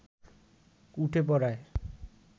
উঠে পড়ায়